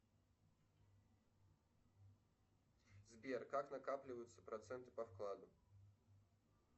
сбер как накапливаются проценты по вкладу